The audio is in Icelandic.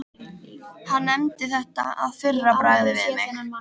Hann nefndi þetta að fyrra bragði við mig.